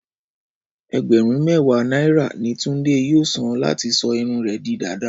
Ẹgbẹ̀rún mẹ́wàá náírà ní Túndé yóò san láti sọ irun rẹ̀ di dàda